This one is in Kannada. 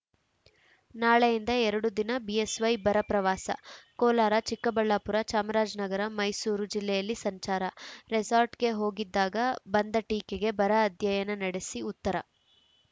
ನಾಳೆಯಿಂದ ಎರಡು ದಿನ ಬಿಎಸ್‌ವೈ ಬರ ಪ್ರವಾಸ ಕೋಲಾರ ಚಿಕ್ಕಬಳ್ಳಾಪುರ ಚಾಮರಾಜನಗರ ಮೈಸೂರು ಜಿಲ್ಲೆಯಲ್ಲಿ ಸಂಚಾರ ರೆಸಾರ್ಟ್‌ಗೆ ಹೋಗಿದ್ದಾಗ ಬಂದ ಟೀಕೆಗೆ ಬರ ಅಧ್ಯಯನ ನಡೆಸಿ ಉತ್ತರ